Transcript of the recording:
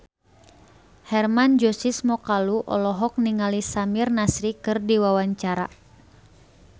Hermann Josis Mokalu olohok ningali Samir Nasri keur diwawancara